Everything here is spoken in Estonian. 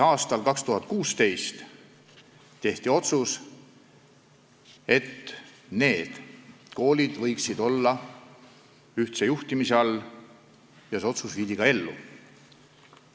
Aastal 2016 tehti otsus, et need koolid võiksid olla ühtse juhtimise all, ja see otsus viidi ka ellu.